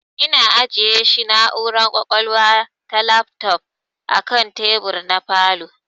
Ina ajiyeshi na'ura kwakwalwa ta lafto akan tebur na falow